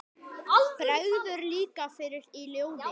Bregður líka fyrir í ljóði.